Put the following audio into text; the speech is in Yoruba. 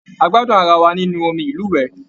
A gbádùn ará wá nínú omí ilúwẹ.